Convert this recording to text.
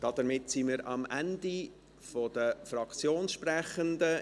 Damit sind wir am Ende der Fraktionssprechenden.